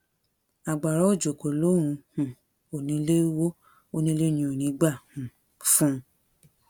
agbára òjò kò lòun um ò nílé wó onílé ni ò ní í gbà um fún un